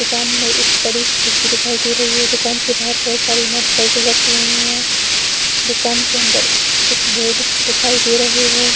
दुकान में एक बड़ी सी खिड़की दिखाई दे रही है दुकान के बाहर बहुत सारी मोटरसाइकिल रखी हुई है दुकान के अंदर कुछ बोर्ड दिखाई दे रहे हैं।